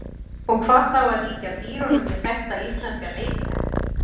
Og hvað þá að líkja dýrunum við þekkta íslenska leikmenn?